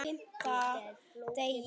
Fita er flókið mál.